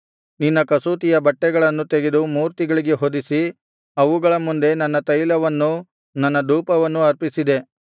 ನಿನ್ನ ಕಸೂತಿಯ ಬಟ್ಟೆಗಳನ್ನು ತೆಗೆದು ಮೂರ್ತಿಗಳಿಗೆ ಹೊದಿಸಿ ಅವುಗಳ ಮುಂದೆ ನನ್ನ ತೈಲವನ್ನೂ ನನ್ನ ಧೂಪವನ್ನೂ ಅರ್ಪಿಸಿದೆ